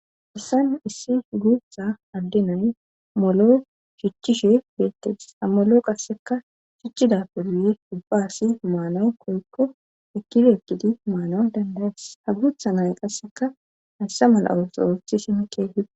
issan issi guutha addinay molo shichchishe geettes hamolo qasseka shichchida poduye dubbaassi maana koykko ekkide ekkidi maana dandaes hagutha nay qasseka hayssa mala7awo soorothi shinkehide